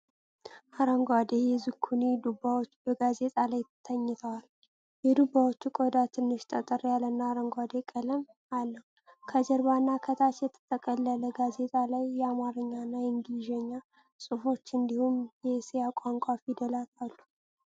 አረንጓዴ የዙኪኒ ዱባዎች በጋዜጣ ላይ ተኝተዋል። የዱባዎቹ ቆዳ ትንሽ ጠጠር ያለና አረንጓዴ ቀለም አለው። ከጀርባና ከታች በተጠቀለለው ጋዜጣ ላይ የአማርኛና የእንግሊዝኛ ጽሁፎች እንዲሁም የእስያ ቋንቋ ፊደላት አሉ።